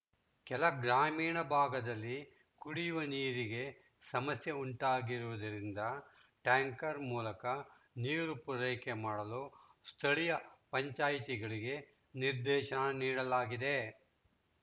ಕೆಲ ಗ್ರಾಮೀಣ ಭಾಗದಲ್ಲಿ ಕುಡಿಯುವ ನೀರಿಗೆ ಸಮಸ್ಯೆ ಉಂಟಾಗಿರುವುದರಿಂದ ಟ್ಯಾಂಕರ್‌ ಮೂಲಕ ನೀರು ಪೂರೈಕೆ ಮಾಡಲು ಸ್ಥಳಿಯ ಪಂಚಾಯಿತಿಗಳಿಗೆ ನಿರ್ದೇಶನ ನೀಡಲಾಗಿದೆ